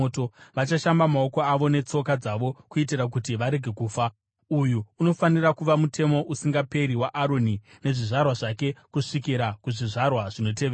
vachashamba maoko avo netsoka dzavo kuitira kuti varege kufa. Uyu unofanira kuva mutemo usingaperi waAroni nezvizvarwa zvake kusvikira kuzvizvarwa zvinotevera.”